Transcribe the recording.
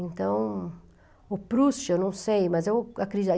Então, o Proust, eu não sei, mas eu